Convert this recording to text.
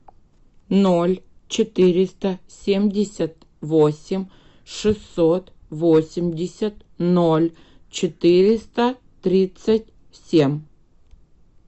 ноль четыреста семьдесят восемь шестьсот восемьдесят ноль четыреста тридцать семь